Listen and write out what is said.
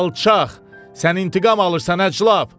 Alçaq, sən intiqam alırsan əclab!